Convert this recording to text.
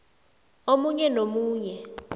omunye nomunye